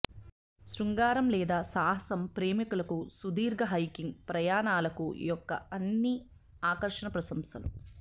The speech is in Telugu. శృంగారం లేదా సాహసం ప్రేమికులకు సుదీర్ఘ హైకింగ్ ప్రయాణాలకు యొక్క అన్ని ఆకర్షణ ప్రశంసలు